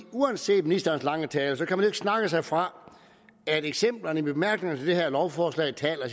uanset ministerens lange tale kan man jo ikke snakke sig fra at eksemplerne i bemærkningerne til det her lovforslag taler